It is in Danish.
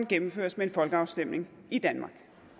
gennemføres med en folkeafstemning i danmark